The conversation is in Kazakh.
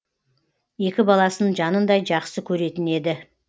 екі баласын жанындай жақсы көретін еді